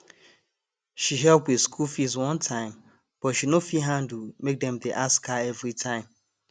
she help with school fees one time but she no fit handle make dem dey ask her every time